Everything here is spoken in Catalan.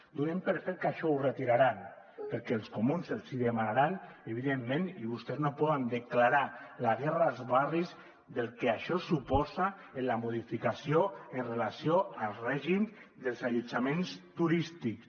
donem per fet que això ho retiraran perquè els comuns els hi demanaran evidentment i vostès no poden declarar la guerra als barris del que això suposa en la modificació amb relació al règim dels allotjaments turístics